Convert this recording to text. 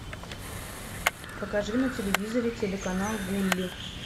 покажи на телевизоре телеканал гулли